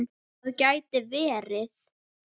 Það gæti verið